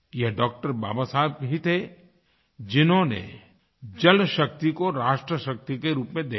ये डॉ० बाबा साहब ही थे जिन्होंने जलशक्ति को राष्ट्रशक्ति के रूप में देखा